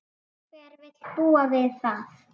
Hver vill búa við það?